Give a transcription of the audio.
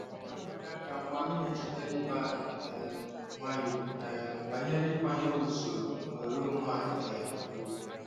Ọ na-enye aka mgbe anyị na-echetara ibe anyị um nwayọọ um banyere ịkwanyere usoro na oghere onwe anyị um ùgwù.